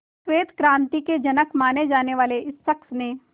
श्वेत क्रांति के जनक माने जाने वाले इस शख्स ने